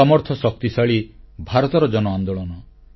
ସମର୍ଥ ଓ ଶକ୍ତିଶାଳୀ ଭାରତର ଜନ ଆନ୍ଦୋଳନ